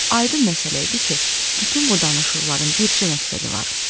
Aydın məsələ idi ki, bütün bu danışıqların bircə məqsədi var.